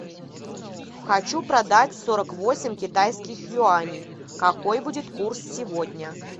хочу продать сорок восемь китайских юаней какой будет курс сегодня